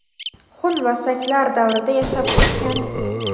xun va saklar davrida yashab o‘sgan.